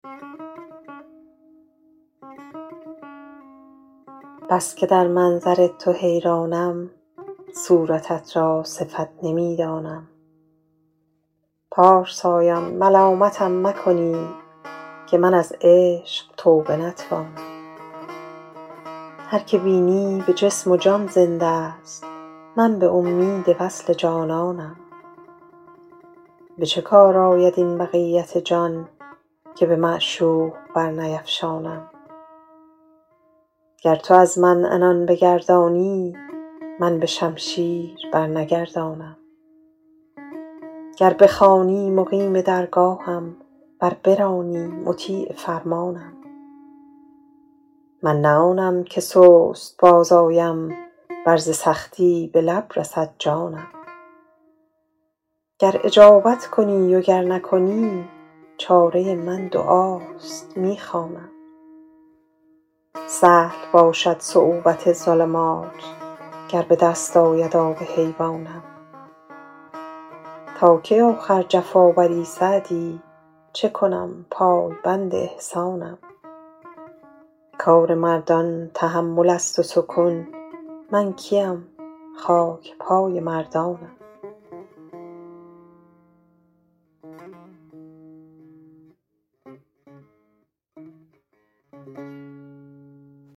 بس که در منظر تو حیرانم صورتت را صفت نمی دانم پارسایان ملامتم مکنید که من از عشق توبه نتوانم هر که بینی به جسم و جان زنده ست من به امید وصل جانانم به چه کار آید این بقیت جان که به معشوق برنیفشانم گر تو از من عنان بگردانی من به شمشیر برنگردانم گر بخوانی مقیم درگاهم ور برانی مطیع فرمانم من نه آنم که سست باز آیم ور ز سختی به لب رسد جانم گر اجابت کنی و گر نکنی چاره من دعاست می خوانم سهل باشد صعوبت ظلمات گر به دست آید آب حیوانم تا کی آخر جفا بری سعدی چه کنم پایبند احسانم کار مردان تحمل است و سکون من کی ام خاک پای مردانم